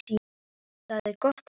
Það er gott að heyra.